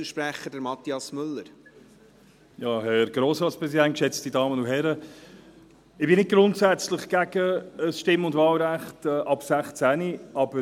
Ich bin nicht grundsätzlich gegen ein Stimm- und Wahlrecht ab 16 Jahren.